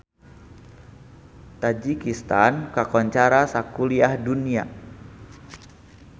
Tajikistan kakoncara sakuliah dunya